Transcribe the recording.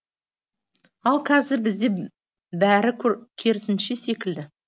ал қазір бізде бәрі керісінше секілді